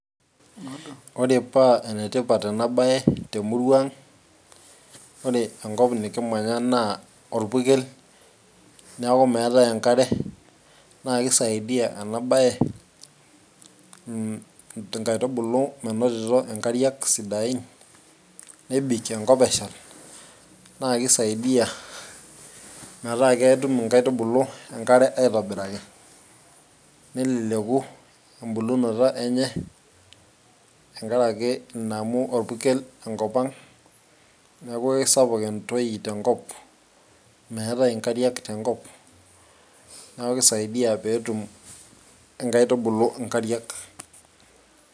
Ore paa enetipat ena bae temurua ang', ore enkop nikimyanya naa orpurkel neeku meetae enkare naa keisaidia ena baye inkaitubulu menotito inkariak sidain nebik enkop eshal naa keisaidia metaa ketum inkaitubulu enkare aitobiraki, neleleku embulunoto enye tenkaraki ina amu orpurkel enkop ang', neeku keisapuk entoi tenkop ,meetae inkariak tenkop, neeku keisaidia pee etum inkaitubuluk inkariak.